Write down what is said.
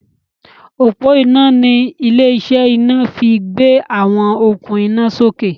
ọpo iná ní ilé-iṣẹ́ ina fí gbé àwọn okun ina sókè.